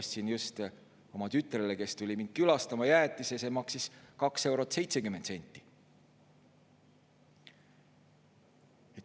Ostsin just oma tütrele, kes tuli mind külastama, jäätise, see maksis 2 eurot ja 70 senti.